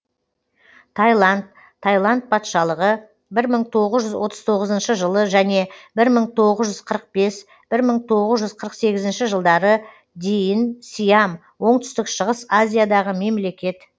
тайланд тайланд патшалығы бір мың тоғыз жүз отыз тоғызыншы жылы және бір мың тоғыз жүз қырық бес бір мың тоғыз жүз қырық сегізінші жылдары дейін сиам оңтүстік шығыс азиядағы мемлекет